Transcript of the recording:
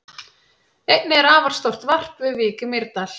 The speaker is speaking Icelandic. Einnig er afar stórt varp við Vík í Mýrdal.